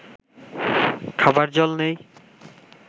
খাবার জল নেই